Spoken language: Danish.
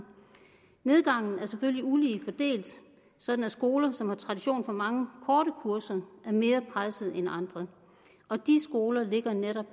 nedgangen er selvfølgelig ulige fordelt sådan at skoler som har tradition for mange korte kurser er mere presset end andre og de skoler ligger netop